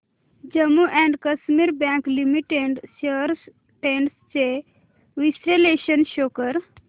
Jammu and Kashmir bank limited shares trends चे विश्लेषण show कर